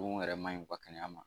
mun yɛrɛ man ɲi u ka kɛnɛya ma.